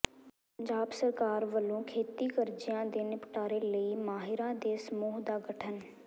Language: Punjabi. ਪੰਜਾਬ ਸਰਕਾਰ ਵੱਲੋਂ ਖੇਤੀ ਕਰਜ਼ਿਆਂ ਦੇ ਨਿਪਟਾਰੇ ਲਈ ਮਾਹਿਰਾਂ ਦੇ ਸਮੂਹ ਦਾ ਗਠਨ